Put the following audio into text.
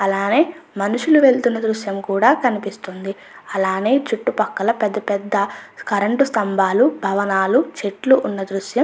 అలానే మనుషులు వెళుతున్న దృశ్యం కూడా కనిపిస్తుంది అలానే చుట్టుపక్కల పెద్ద పెద్ద కరెంటు స్తంభాలు భవనాలు చెట్లు ఉన్న దృశ్యం మనకి --